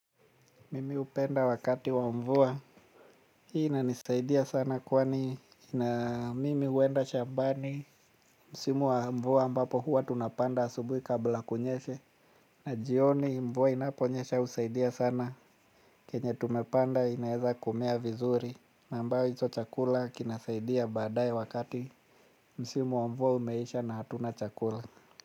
Mimi hupenda wakati wa mvua. Hii inanisaidia sana kwani na mimi huenda shambani. Msimu wa mvua ambapo huwa tunapanda asubui kabla kunyeshe na jioni mvua inapo nyesha husaidia sana. Kenye tumepanda inaeza kumea vizuri. Na ambayo hicho chakula kinasaidia baadaye wakati msimu wa mvua umeisha na hatuna chakula.